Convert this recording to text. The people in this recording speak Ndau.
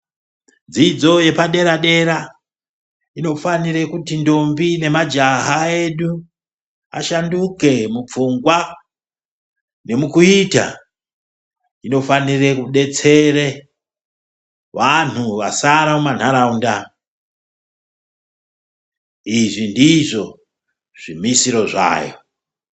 Dzidzo yepadera dera inofanira kuti ndombi nemajaha edu ashanduke mupfungwa nemukuita . Inofanirwa kudetsere wantu vasara mumantaraunda, izvi ndizvo zvimisiro zvayo